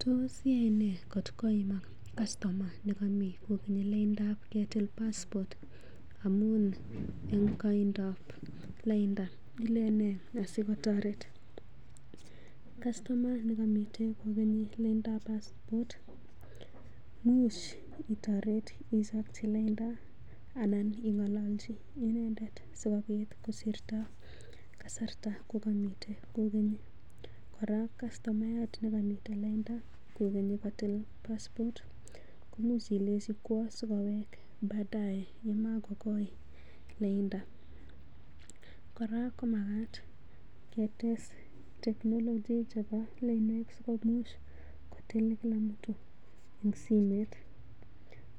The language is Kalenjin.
Tos iyaene kot koimak kastoma nekami kokenyi laindab ketil paspot amun eng koindab lainda. ileni nee asikotoret? Kastomaya negomite kogeni laindap passport imuch itoret ichopchi lainda anan ing'ololchi inendet sikobit kosirto kasarta komomiten kogeni. Kora kastomayat nekomiten lainda kogeni kotil passport komuch ilenchi kwo asikowek baadae yemagokoi lainda. Kora komagat ketes technology chebo lainwek sikomuch kotil kila mtu en simet